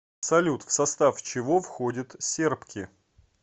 салют в состав чего входит сербки